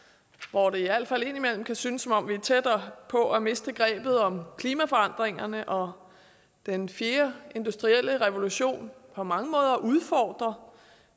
hvor det i al fald indimellem kan synes som om vi er tættere på at miste grebet om klimaforandringerne og hvor den fjerde industrielle revolution på mange måder udfordrer